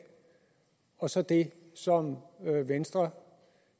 og så det som venstre